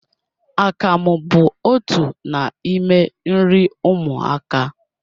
Akamụ bụ otu n'ime nri ụmụaka